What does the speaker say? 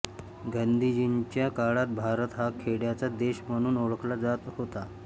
गांधीजींच्या काळात भारत हा खेड्यांचा देश म्हणून ओळखला जात होता